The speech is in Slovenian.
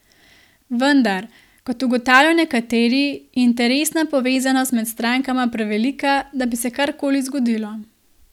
Vendar, kot ugotavljajo nekateri, je interesna povezanost med strankama prevelika, da bi se karkoli zgodilo.